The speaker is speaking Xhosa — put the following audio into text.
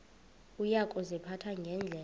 uya kuziphatha ngendlela